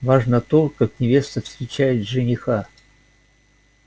важно то как невеста встречает жениха